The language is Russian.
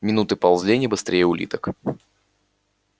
минуты ползли не быстрее улиток